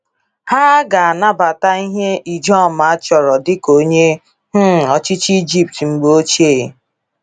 Ha a ga-anabata ihe Ijoma chọrọ dịka onye um ọchịchị Egypt mgbe ochie?